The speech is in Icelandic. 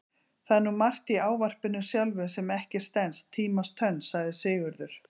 Það er nú margt í ávarpinu sjálfu sem ekki stenst tímans tönn, sagði Sigurður.